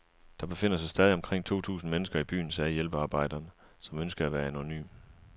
Der befinder sig stadig omkring to tusind mennesker i byen, sagde hjælpearbejderen, som ønskede at være anonym.